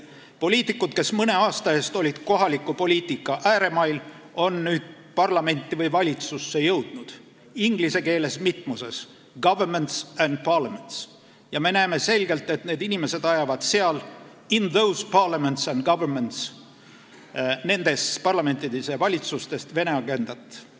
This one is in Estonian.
Poliitikud, kes mõne aasta eest olid kohaliku poliitika ääremail, on nüüd parlamenti või valitsusse jõudnud – inglise keeles on siin mitmus, st governments and parliaments – ja me näeme selgelt, et need inimesed ajavad seal – in those parliaments and governments, st nendes parlamentides ja valitsustes – Vene agendat.